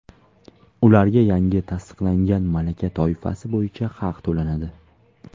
ularga yangi tasdiqlangan malaka toifasi bo‘yicha haq to‘lanadi.